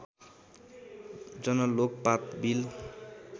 Jan Lokpal bill